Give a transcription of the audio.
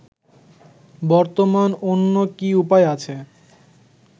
বর্তমান অন্য কি উপায় আছে